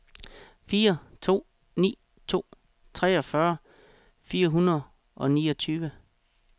fire to ni to treogfyrre fire hundrede og niogtyve